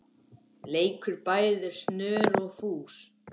leikur bæði snör og fús.